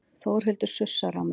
Þórhildur sussar á mig.